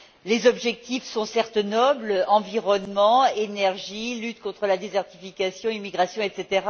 Les objectifs sont, certes, nobles environnement, énergie, lutte contre la désertification, immigration, etc.